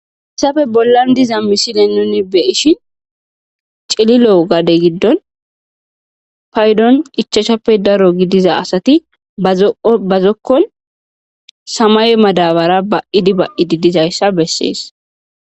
Hessafe bollan diza misine nuni be7ishin cililo gade giddon paydon ichashappe daro gidiza asati bazo7o bazokkon samaye madabara ba7idi ba7udi dizayssa bessees.